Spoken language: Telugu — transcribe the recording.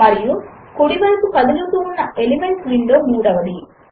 మరియు కుడి వైపు కదులుతూ ఉన్న ఎలిమెంట్స్ విండో మూడవది